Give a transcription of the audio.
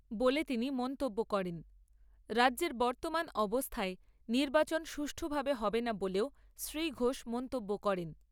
বলে তিনি মন্তব্য করেন। রাজ্যের বর্তমান অবস্থায়, নির্বাচন সুষ্ঠুভাবে হবেনা বলেও শ্রী ঘোষ মন্তব্য করেন